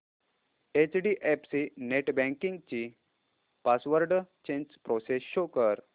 HDFC net banking ची password change process show कर